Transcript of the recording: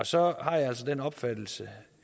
så har jeg altså den opfattelse